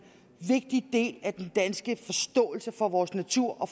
vigtig del af den danske forståelse for vores natur og